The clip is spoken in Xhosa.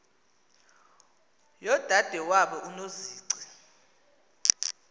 yodade wabo unozici